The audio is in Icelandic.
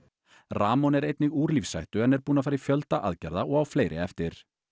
rahmon er einnig úr lífshættu en er búinn að fara í fjölda aðgerða og á fleiri eftir